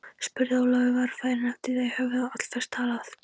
spurði Ólafur varfærinn eftir að þeir höfðu um allflest talað.